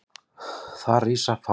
Þar rísa fá hús.